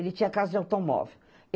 Ele tinha casa de automóvel.